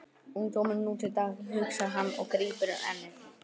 Ungdómurinn nú til dags, hugsar hann og grípur um ennið.